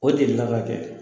O delila ka kɛ.